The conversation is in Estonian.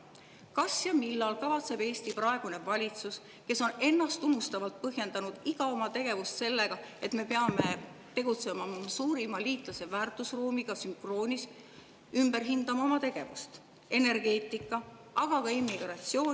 Kas ja millal kavatseb Eesti praegune valitsus, kes on ennastunustavalt põhjendanud iga oma tegevust sellega, et me peame tegutsema suurima liitlase väärtusruumiga sünkroonis, hakata ümber hindama oma tegevust energeetikas, aga ka immigratsiooni …